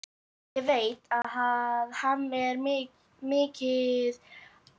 Ég veit að hann er mikið slasaður.